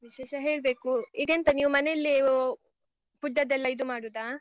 ವಿಶೇಷ ಹೇಳ್ಬೇಕು. ಈಗ ಎಂತ ನೀವ್ ಮನೆಯಲ್ಲಿಯೇ ಓ food ಅದ್ದೆಲ್ಲ ಇದು ಮಾಡುದಾ?